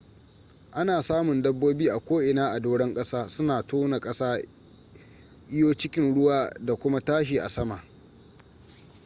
ana samun dabobi a ko in a doran kasa suna tona kasa iyo a cikin ruwa da kuma tashi a sama